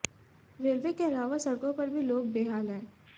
railway के अलावा सडक़ों पर भी लोग बेहाल हैं